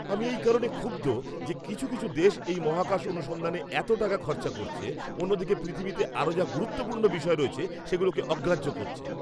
আমি এই কারণে ক্ষুব্ধ যে কিছু কিছু দেশ এই মহাকাশ অনুসন্ধানে এত টাকা খরচা করছে, অন্যদিকে পৃথিবীতে আরও যা গুরুত্বপূর্ণ বিষয় রয়েছে সেগুলোকে অগ্রাহ্য করছে।